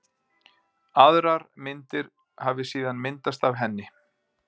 Aðrar myndir hafi síðan myndast af henni.